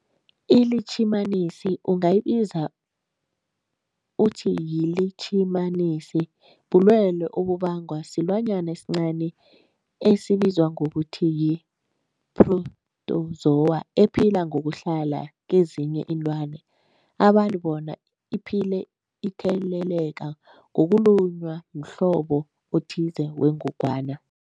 ILitjhimanisi ungayibiza uthiyilitjhimanisi, bulwelwe obubangwa silwanyana esincani esibizwa ngokuthiyi-phrotozowa ephila ngokuhlala kezinye iinlwana, abantu bona iphile itheleleka ngokulunywa mhlobo othize wengogwana.